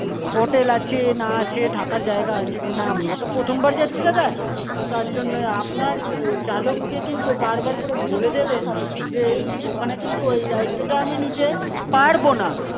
Hotel আছে না আছে থাকার জায়গা আছে কিনা? আমরা তো প্রথমবার যাচ্ছি দাদা তো তার জন্যই আপনার চালককে কিন্তু বার বার করে বলে দেবেন যে ওখানে কিন্তু ওই দায়িত্বটা আমি নিতে পারবো না.